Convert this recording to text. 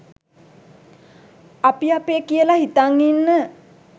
අපි අපේ කියල හිතන් ඉන්න